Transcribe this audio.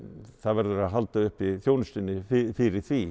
það verður að halda uppi þjónustunni fyrir því